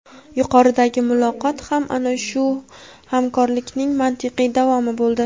Yuqoridagi muloqot ham ana shu hamkorlikning mantiqiy davomi bo‘ldi.